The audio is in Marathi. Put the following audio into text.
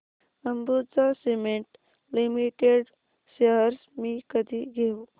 अंबुजा सीमेंट लिमिटेड शेअर्स मी कधी घेऊ